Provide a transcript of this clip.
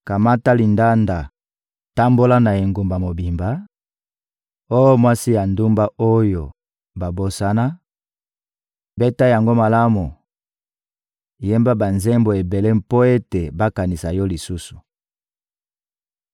«Kamata lindanda, tambola na engumba mobimba, oh mwasi ya ndumba oyo babosana; beta yango malamu, yemba banzembo ebele mpo ete bakanisa yo lisusu!»